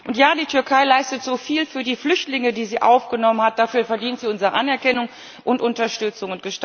Und ja, die Türkei leistet so viel für die Flüchtlinge, die sie aufgenommen hat, dafür verdient sie unsere Anerkennung und Unterstützung.